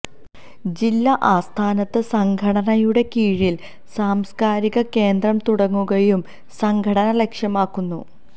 ജില്ലാ ആസ്ഥാനത്ത് സംഘടനയുടെ കീഴില് സാംസ്കാരിക കേന്ദ്രം തുടങ്ങുകയും സംഘടന ലക്ഷ്യമാക്കുന്നു